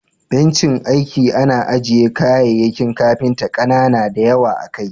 Bencin aiki ana aje kayayyakin kafinta kanana da yawa akai.